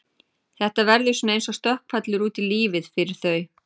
Þetta verður svona eins og stökkpallur út í lífið fyrir þau.